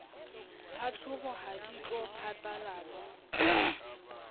tlhahlobo ha di tlo phatlalatswa